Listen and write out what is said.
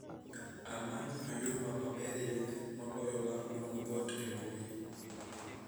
Amany oyuma maberie moloyo mar duong'o dhoot embui